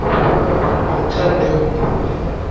ho tla nne ho dule